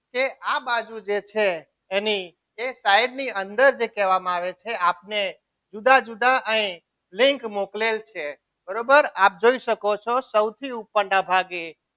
કે આ બાજુ જે છે એની size ની અંદર જે કહેવામાં આવે છે એ આપને જુદા જુદા અહીં લિંક મોકલેલ છે બરોબર આપ જોઈ શકો છો સૌથી ઉપરના ભાગે